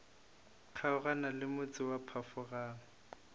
kgaogana le motse wa phafogang